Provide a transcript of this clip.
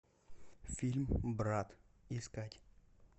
фильм брат искать